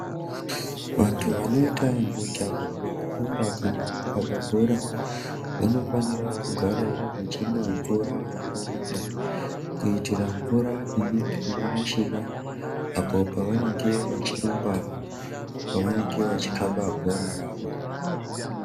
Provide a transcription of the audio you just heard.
Vanhu vanoita mujaho wekurumba kana kukaba bhora Vanofanirawo kugara vachimwawo mvura yakawanda kuitira mvura inenge yarashika apo pavanenge vachirumba vachikaba bhora rawo.